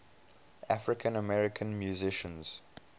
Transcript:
african american musicians